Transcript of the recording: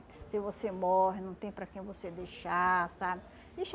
Se você morre, não tem para quem você deixar, sabe?